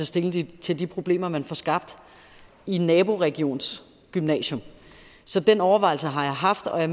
stilling til de problemer man får skabt i en naboregions gymnasium så den overvejelse har jeg haft og jeg